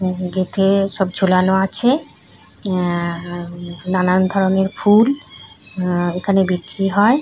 Gate এ সব ঝোলানো আছে হুউউউ নানান ধরণের ফুল হুউউউ এখানে বিক্রি হয় ।